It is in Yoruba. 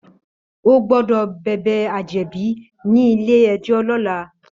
Ó gbòdò bèbè àjèbí ni ilé èjò lòlá